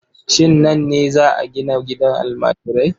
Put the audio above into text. Shin nan ne za a gina gidan almajirai?